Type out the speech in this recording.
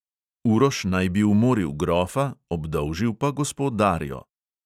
Uroš naj bi umoril grofa, obdolžil pa gospo darjo.